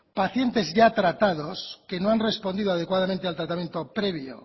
pacientes ya tratados que no han respondido adecuadamente al tratamiento previo